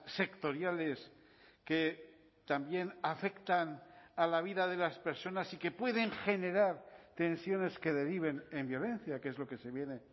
sectoriales que también afectan a la vida de las personas y que pueden generar tensiones que deriven en violencia que es lo que se viene